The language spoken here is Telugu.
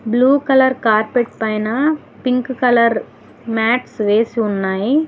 బ్లూ కలర్ కార్పెట్ పైన పింక్ కలర్ మ్యాట్ వేసి ఉన్నాయి.